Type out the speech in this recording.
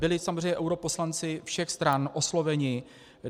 Byli samozřejmě europoslanci všech stran osloveni.